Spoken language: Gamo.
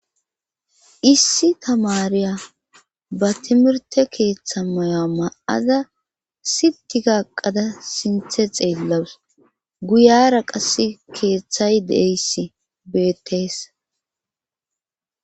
issi tamariya ba timirte keeththa maya ma7aza sitika eqada sinthe xeellawus guyara qasse keeththay deeyssi beetees